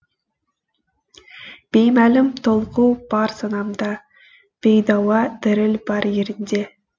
беймәлім толқу бар санамда бейдауа діріл бар ерінде